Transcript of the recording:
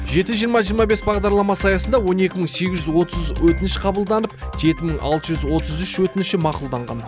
жеті жиырма жиырма бес бағдарламасы аясында он екі мың сегіз жүз отыз өтініш қабылданып жеті мың алты жүз отыз үш өтініші мақұлданған